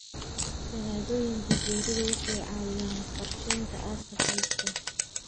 Shahaadooyinka geeridu waxay caawiyaan qorsheynta aaska qoyska.